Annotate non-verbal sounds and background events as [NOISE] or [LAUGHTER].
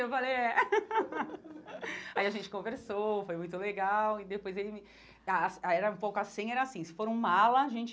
Eu falei, é. [LAUGHS] Aí a gente conversou, foi muito legal e depois ele me ... Ah aí era um pouco assim, era assim, se for um mala, a gente...